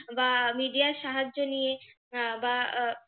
বা media র সাহায্য নিয়ে আহ বা আহ